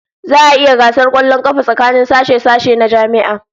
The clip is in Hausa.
Za'a yi gasar kwallon kafa tsakanin sashe-sashe na jami'a